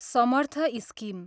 Samarth scheme